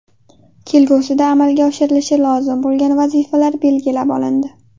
Kelgusida amalga oshirilishi lozim bo‘lgan vazifalar belgilab olindi.